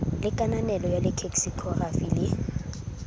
le kananelo ya leksikhokrafi le